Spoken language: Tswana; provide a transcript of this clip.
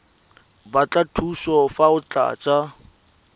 batla thuso fa o tlatsa